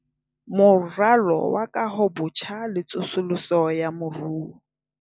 Moralo wa Kahobotjha le Tsosoloso ya Moruo